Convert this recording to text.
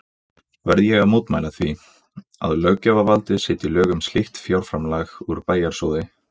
Verð ég að mótmæla því, að löggjafarvaldið setji lög um slíkt fjárframlag úr bæjarsjóði